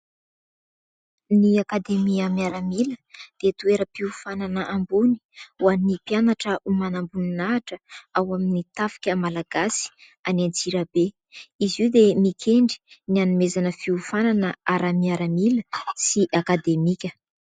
Ny akademia miaramila dia toeram-pihofanana ambony ho an'ny mpianatra ho manam-boninahitra ao amin'ny tafika malagasy any Antsirabe. Izy io dia mikendry ny hanomezana fihofanana ara-miaramila sy akademika.